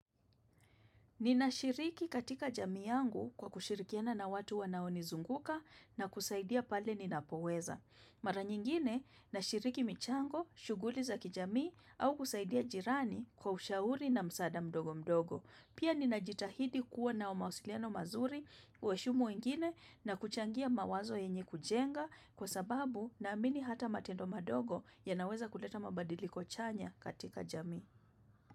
Ninashiriki katika jamii yangu kwa kushirikiana na watu wanaonizunguka na kusaidia pale ninapoweza. Mara nyingine, nashiriki michango, shughuli za kijamii au kusaidia jirani kwa ushauri na msada mdogo mdogo. Pia ninajitahidi kuwa na mawasiliano mazuri kuheshimu wengine na kuchangia mawazo yenye kujenga kwa sababu naamini hata matendo madogo yanaweza kuleta mabadiliko chanya katika jamii.